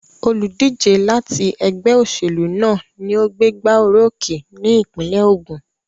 Olùdíje láti ẹgbẹ́ òṣèlú náà ni ó gbégbá orókè ní ìpínlẹ̀ Ògùn.